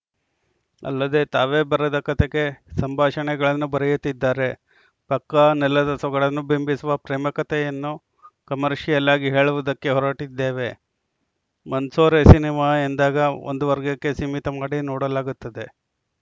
ಅಲ್ಲದೆ ತಾವೇ ಬರೆದ ಕತೆಗೆ ಸಂಭಾಷಣೆಗಳನ್ನು ಬರೆಯುತ್ತಿದ್ದಾರೆ ಪಕ್ಕಾ ನೆಲದ ಸೊಗಡನ್ನು ಬಿಂಬಿಸುವ ಪ್ರೇಮ ಕತೆಯನ್ನು ಕಮರ್ಷಿಯಲ್ಲಾಗಿ ಹೇಳುವುದಕ್ಕೆ ಹೊರಟಿದ್ದೇವೆ ಮಂಸೋರೆ ಸಿನಿಮಾ ಎಂದಾಗ ಒಂದು ವರ್ಗಕ್ಕೆ ಸೀಮಿತ ಮಾಡಿ ನೋಡಲಾಗುತ್ತದೆ